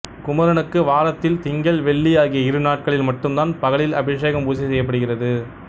குமரனுக்கு வாரத்தில் திங்கள் வெள்ளி ஆகிய இரு நாட்களில் மட்டும் தான் பகளில் அபிஷேகம் பூசை செய்யப்படுகிறது